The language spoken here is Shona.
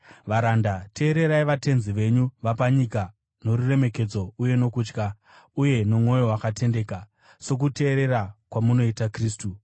Varanda, teererai vatenzi venyu vapanyika noruremekedzo uye nokutya, uye nomwoyo wakatendeka, sokuteerera kwamunoita Kristu.